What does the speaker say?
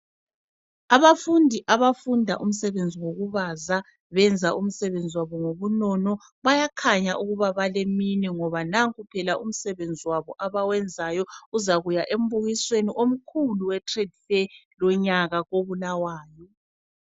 Abafundi, abafunda umsebenzi wokubaza, benza umsebenzi wabo ngobunono obukhulu. Bayakhanya ukuthi baleminwe ngoba nanku umsebenzi wabo abawenzayo uzakuya embukisweni omkhulu eTradefair lonyaka koBulawayo.